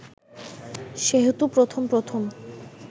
সেহেতু প্রথম প্রথম